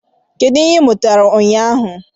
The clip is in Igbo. Kedu ihe ị mụtara ụnyaahụ?